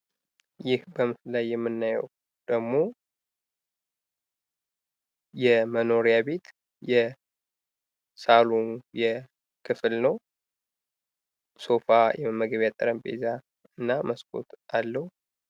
ይህ በምስሉ ላይ የምናየው ደግሞ የመኖሪያ ቤት የሳሎን የክፍል ነው። ሶፋ የመመገቢያ ጠረጴዛ እና ስኮት አለው።